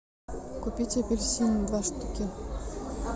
купить апельсины два штуки